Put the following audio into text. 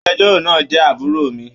Agbẹ̀jọ́ro náà jẹ àbúrò mi.